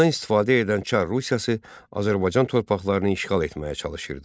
Bundan istifadə edən Çar Rusiyası Azərbaycan torpaqlarını işğal etməyə çalışırdı.